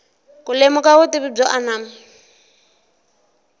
ku lemuka vutivi byo anama